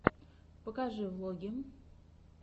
покажи влоги